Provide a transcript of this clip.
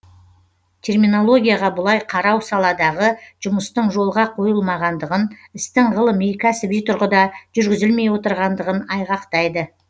терминологияға бұлай қарау саладағы жұмыстың жолға қойылмағандығын істің ғылыми кәсіби тұрғыда жүргізілмей отырғандығын айғақтайды